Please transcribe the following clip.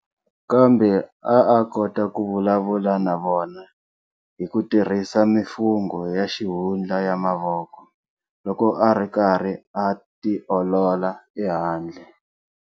Kambe a a kota ku vulavula na vona hikutirhisa mifungo ya xihundla ya mavoko, loko ari karhi a ti olola ehandle.